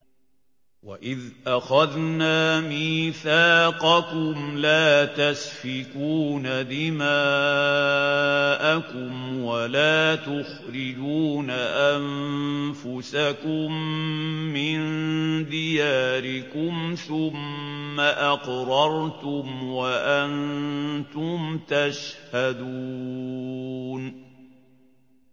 وَإِذْ أَخَذْنَا مِيثَاقَكُمْ لَا تَسْفِكُونَ دِمَاءَكُمْ وَلَا تُخْرِجُونَ أَنفُسَكُم مِّن دِيَارِكُمْ ثُمَّ أَقْرَرْتُمْ وَأَنتُمْ تَشْهَدُونَ